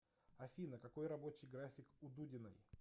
афина какой рабочий график у дудиной